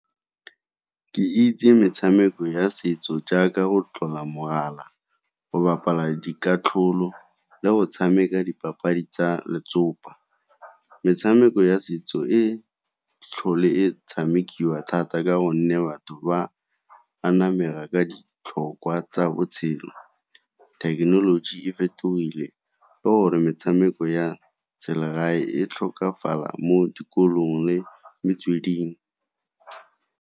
Ke itse metshameko ya setso jaaka go tlola mogala, go bapala dikatlholo, le go tshameka dipapadi tsa letsopa. Metshameko ya setso e tlhole e tshamekiwa thata ka gonne batho ba ka ditlhokwa tsa botshelo. Thekenoloji e fetogile ka gore metshameko ya selegae e tlhokafala mo dikolong le metsweding.